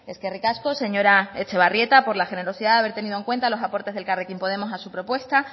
eskerrik asko señora etxebarrieta por la generosidad de haber tenido en cuenta los aportes de elkarrekin podemos a su propuesta